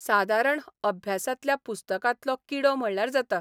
सादारण अभ्यासांतल्या पुस्तकांतलो किडो म्हणाल्यार जाता.